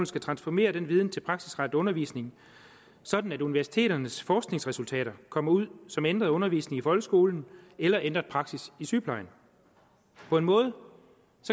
skal transformere den viden til praksisrettet undervisning sådan at universiteternes forskningsresultater kommer ud som ændret undervisning i folkeskolen eller ændret praksis i sygeplejen på en måde